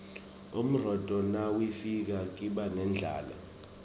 umrotfo nawifika kiba nendlala